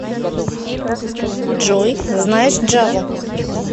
джой знаешь джаву